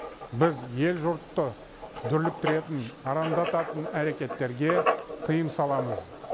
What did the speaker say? біз ел жұртты дүрліктіретін арандататын әрекеттерге тыйым саламыз